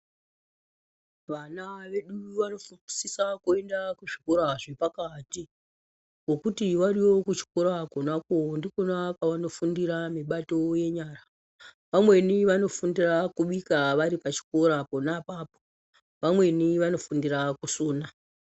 Vana vedu vanosisa kuenda kuzvikora zvepakati ngokuti variyo kuzvikora kona kwo ndikwona kwaanofundira mibato yenyara. Vamweni vanofundira kubika varipachikora pona apapo, vamweni vanofundira kusona.